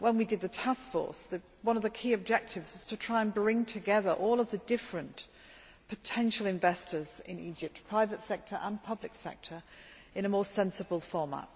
When we did the taskforce, one of the key objectives was to try to bring together all of the different potential investors in Egypt private sector and public sector in a more sensible format